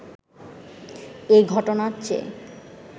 এ ঘটনার চেয়ে